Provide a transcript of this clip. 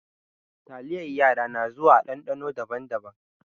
Taliyar yara na zuwa a ɗanɗano daban-daban.